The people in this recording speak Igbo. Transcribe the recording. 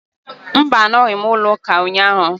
Mba, anọghị m n'ụlọ ụka ụnyaahụ